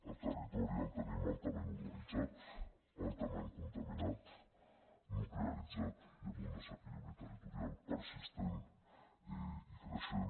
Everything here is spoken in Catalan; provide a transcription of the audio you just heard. el territori el tenim altament urbanitzat altament contaminat nuclearitzat i amb un desequilibri territorial persistent i creixent